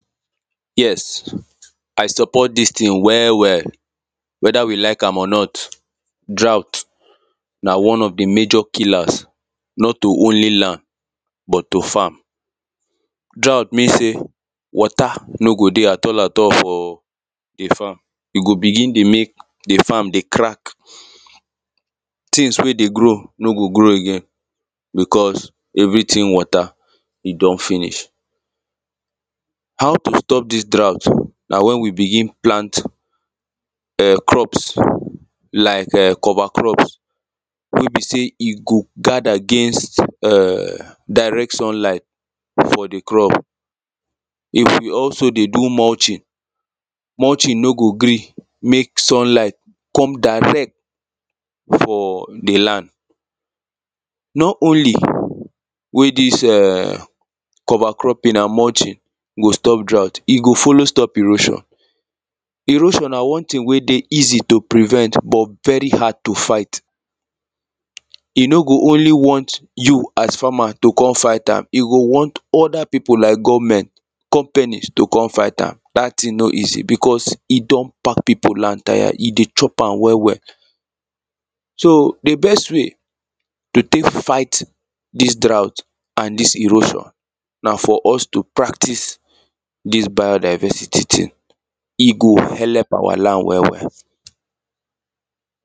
Yes, I support this thing well, well, whether we like am or not, draught na one of the major killers not to only land, but to farm, draught means say, water, no go dey at all at all, for the farm, e go begin dey make the farm dey crack, things wey dey grow no go grow again because everything water e don finish. How to stop this draught na when we begin plant, um crops, like um cover cloth wey be say e go guide against [um ]direct sunlight, for the crop. If you also dey do munching, munching no go gree make sunlight come direct for the land not only wey this um, cover clothing and munching go stop draught, e go follow stop erosion. Erosion na one thing wey dey easy to prevent, but very hard to fight, e no go only want you as farmer to come fight am, e go want other people like government, companies to come fight am, that thing no easy because e don bad people land tire, e dey chop am well, well. so, the best way to take fight this draught and this erosion, na for us to practice this biodiversity thing, e go helep our land well, well